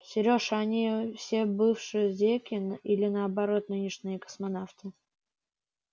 серёж а они все бывшие зеки или наоборот нынешние космонавты